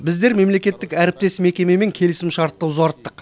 біздер мемлекеттік әріптес мекемемен келісімшартты ұзарттық